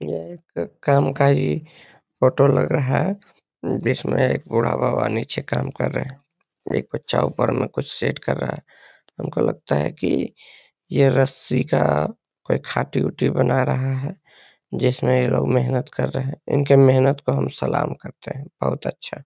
यह एक काम का ही फोटो लग रहा है जिसमें एक बूढ़ा बाबा निचे काम कर रहें हैं। एक बच्चा ऊपर में कुछ सेट कर रहा है। हमको लगता है की ये रस्सी का कोई खाटी-ऊटी बना रहा है जिसमें ये लोग मेहनत कर रहें हैं। इनकी मेहनत को हम सलाम करते हैं। बहुत अच्छा।